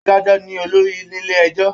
Adájọ ní olórí nílé ẹjọ.